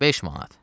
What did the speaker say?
5 manat.